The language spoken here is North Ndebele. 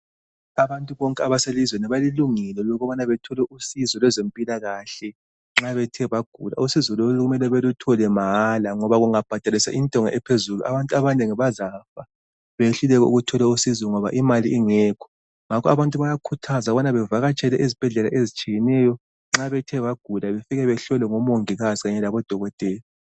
Abantu bonke abaselizweni balelungelo lokubana bethole usizo lwezempilakahle nxa bethe bagula. Usizo lolu kumele beluthole mahala ngoba kungabhadaliswa intengo ephezulu abantu abanengi bazafa beyehluleke ukuthola usizo ngoba imali ingekho. Ngakho abantu bayakhuthazwa ukubana bavakatshele ezibhedlela ezitshiyeneyo bethe bagula befike behlolwe ngomongikazi kanye labodokotela.